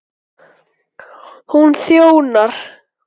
Hún þjónar